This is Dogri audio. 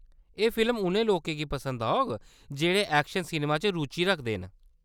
एह्‌‌ फिल्म उ'नें लोकें गी पसंद औग जेह्‌‌ड़े ऐक्शन सिनमे च रुचि रखदे न।